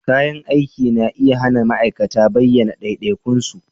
Kayan aiki na iya hana ma'aikata bayyana ɗaiɗaikun su